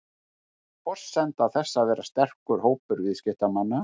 Forsenda þess væri sterkur hópur viðskiptamanna